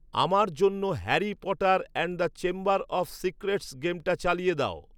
আমার জন্য Harry Potter and the Chamber of Secrets গেমটা চালিয়ে দাও